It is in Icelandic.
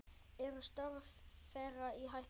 Eru störf þeirra í hættu?